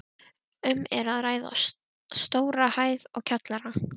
Um er að ræða stóra hæð og kjallara.